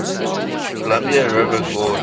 columbia river gorge